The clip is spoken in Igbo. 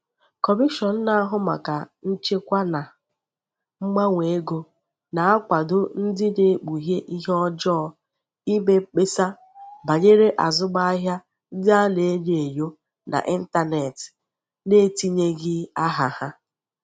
Kọmishọn na-ahụ maka Nchekwa na Mgbanwe Ego na-akwado ndị na-ekpughe ihe ọjọọ ime mkpesa banyere azụmahịa ndị a na-enyo enyo n'ịntanetị n'etinyeghị aha ha.